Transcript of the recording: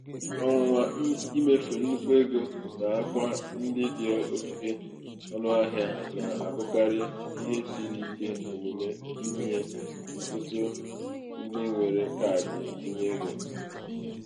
ọnwụnwa imefu nnukwu um ego n'akwa um ndị dị oke ọnụahịa na-abụkarị um ihe siri ike omume nye ọtụtụ ndị nwere kaadị ntinyeego.